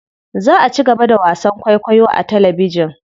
Za a cigaba da wasan kwaikwayo a talabijin.